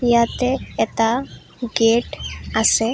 ইয়াতে এটা গেট আছে।